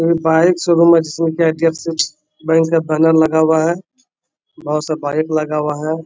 ये bike showroom है जिसमें के एच.डी.एफ.सी. बैंक का बैनर लगा हुआ है। बहुत सा बाइक लगा हुआ है।